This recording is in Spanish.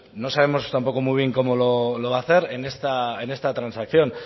no sabemos tampoco muy bien cómo lo va a hacer en esta transacción